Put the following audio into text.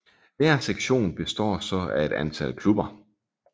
Hver sektion består så af et antal klubber